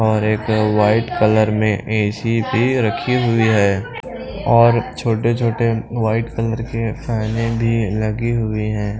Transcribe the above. और एक white colour में ए_सी भी रखी हुई है और छोटे-छोटे वाइट कलर के फैने भी लगी हुई हैं।